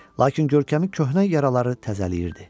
Lakin görkəmi köhnə yaraları təzələyirdi.